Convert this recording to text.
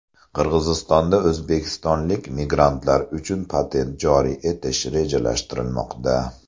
Qirg‘izistonda o‘zbekistonlik migrantlar uchun patent joriy etish rejalashtirilmoqda .